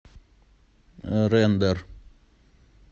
рэндэр